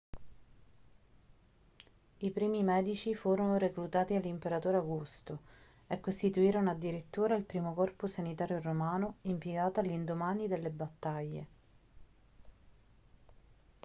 i primi medici furono reclutati dall'imperatore augusto e costituirono addirittura il primo corpo sanitario romano impiegato all'indomani delle battaglie